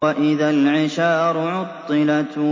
وَإِذَا الْعِشَارُ عُطِّلَتْ